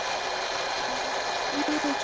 NEI, ERTU KOMIN, ELSKAN!